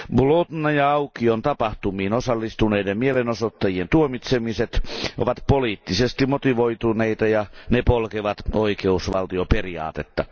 Bolotnaja aukion tapahtumiin osallistuneiden mielenosoittajien tuomitsemiset ovat poliittisesti motivoituneita ja ne polkevat oikeusvaltioperiaatetta.